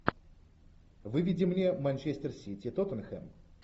выведи мне манчестер сити тоттенхэм